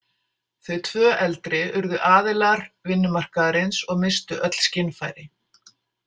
Þau tvö eldri urðu aðilar vinnumarkaðarins og misstu öll skynfæri.